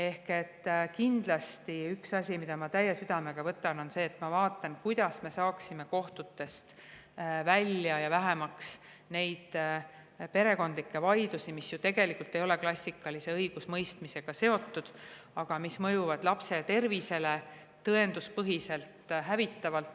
Nii et kindlasti üks asi, mida ma väga südamega võtan, on see, et ma vaatan, kuidas me saaksime kohtutest välja ja vähemaks perekondlikke vaidlusi, mis ju tegelikult ei ole klassikalise õigusemõistmisega seotud, aga mis mõjuvad lapse tervisele tõenduspõhiselt hävitavalt.